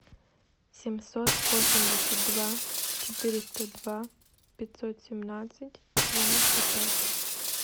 семьсот восемьдесят два четыреста два пятьсот семнадцать девяносто пять